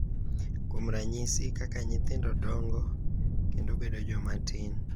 Kuom ranyisi, kaka nyithindo dongo kendo bedo joma tin, .